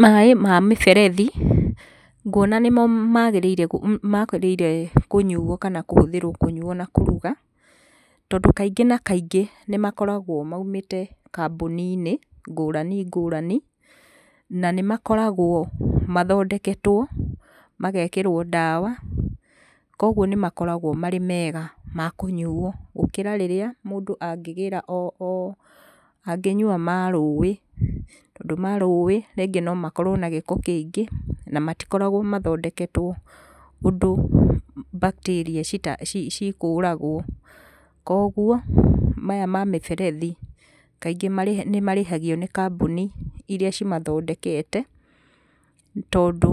Maĩ ma mĩberethi, nguona nĩmo magĩrĩire magĩrĩire kũnyuo kana kũhũthrwo kũnyuo na kũruga, tondũ kaingĩ na kaingĩ nĩmakoragwo moimĩte kambuni-inĩ ngũrani ngũrani, na nĩ makoragwo mathondeketwo, magekĩrwo ndawa, kwoguo nĩ makoragwo marĩ mega ma kũnyuo, gũkĩra rĩrĩa mũndũ angĩgĩra o,o, angĩnyua ma rũĩ. Tondũ ma rũĩ rĩngĩ no makorwo na gĩko kĩingĩ, nĩ matikoragwo mathondeketwo ũndũ, bacteria cikũragwo. Kwoguo, maya ma mĩberethi, kaingĩ nĩ marĩhagio nĩ kambuni ĩria cimathondekete, tondũ